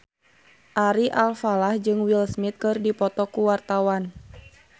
Ari Alfalah jeung Will Smith keur dipoto ku wartawan